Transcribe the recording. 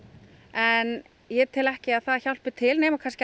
en ég tel ekki að það hjálpi til nema